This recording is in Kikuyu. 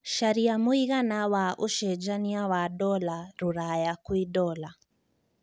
carĩa mũigana wa ũcenjanĩa wa dola rũraya kwĩ dola